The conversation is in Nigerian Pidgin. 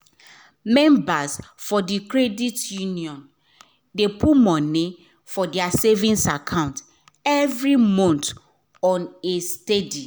members for d credit union dey put money for their savings account every month on a steady